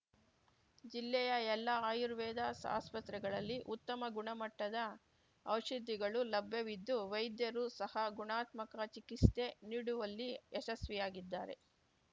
ಜಿಲ್ಲೆಯ ಎಲ್ಲಾ ಆರ್ಯುವೇದ ಆಸ್ಪತ್ರೆಗಳಲ್ಲಿ ಉತ್ತಮ ಗುಣಮಟ್ಟದ ಔಷಧಿಗಳು ಲಭ್ಯವಿದ್ದು ವೈದ್ಯರು ಸಹ ಗುಣಾತ್ಮಕ ಚಿಕಿಸ್ತೆ ನೀಡುವಲ್ಲಿ ಯಶಸ್ಸಿಯಾಗಿದ್ದಾರೆ